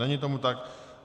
Není tomu tak.